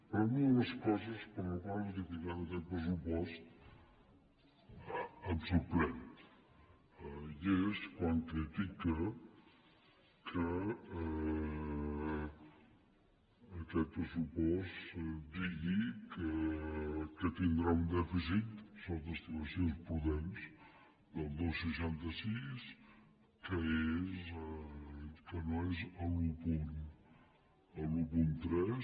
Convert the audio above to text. però una de les coses per les quals ha criticat aquest pressupost em sorprèn i és quan critica que aquest pressupost digui que tindrà un dèficit sota estimacions prudents del dos coma seixanta sis que no és l’un coma tres